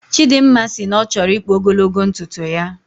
Chidimma sị na ọchọrọ ikpu ogologo ntuntu ya